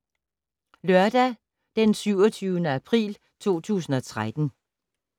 Lørdag d. 27. april 2013